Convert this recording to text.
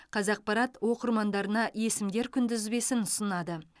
қазақпарат оқырмандарына есімдер күнтізбесін ұсынады